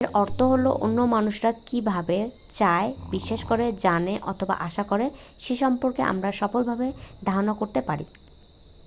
এর অর্থ হলো অন্য মানুষরা কি ভাবে চায় বিশ্বাস করে জানে অথবা আশা করে সে সম্পর্কে আমরা সফলভাবে ধারণা করতে পারি